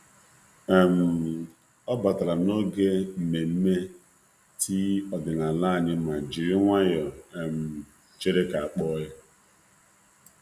Ọ batara n'oge nmenme tii ọdịnala tii ọdịnala anyị ma jiri nwayọọ chere ka a kpọọ ya.